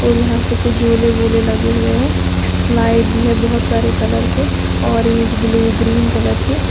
और यहां से कुछ झूले वूले लगे हुएं हैं स्लाइड भी हैं बहुत सारे कलर के ऑरेंज ब्लू ग्रीन कलर के--